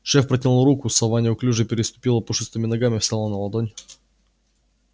шеф протянул руку сова неуклюже переступила пушистыми ногами встала на ладонь